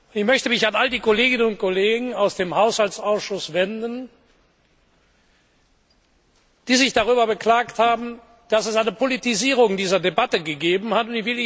Ich möchte mich an all diejenigen Kolleginnen und Kollegen aus dem Haushaltsausschuss wenden, die sich darüber beklagt haben, dass es eine Politisierung dieser Debatte gegeben hat.